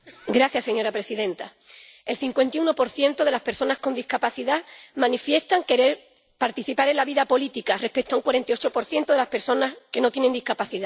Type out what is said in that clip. Señora presidenta, el 51 de las personas con discapacidad manifiesta querer participar en la vida política, frente al 48 de las personas que no tiene discapacidad.